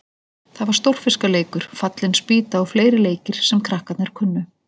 Það var Stórfiska- leikur, Fallin spýta og fleiri leikir sem krakkarnir kunnu.